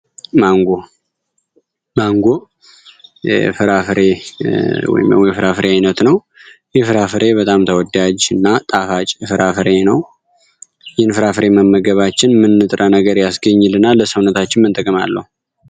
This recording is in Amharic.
ማንጎ ማንጎ የፍራፍሬ ውይም የፍራፍሬ አይነት ነው። ይህ ፍራፍሬ በጣም ተወዳጅ እና ጣፋጭ ፍራፍሬ ነው። ይህንን ፍራፍሬ መመገባችን ምን ንጥረ ነገር ያስገኝልናል ለሰውነታችን ምን ጥቀሜታ አለው?